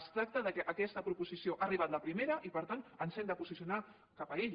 es tracta que aquesta proposició ha arribat la primera i per tant ens hem de posicionar cap a ella